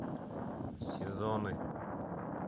сезоны